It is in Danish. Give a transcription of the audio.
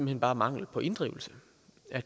hen bare mangel på inddrivelse